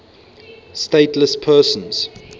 stateless persons